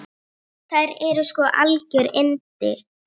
Þær eru sko algjör yndi.